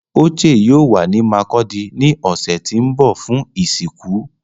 Oche yoo wa ni Markudi ni ọsẹ ti n bọ fun isinku